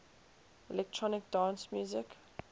electronic dance music